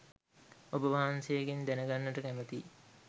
ඔබ වහන්සේගෙන් දැන ගන්නට කැමැතියි.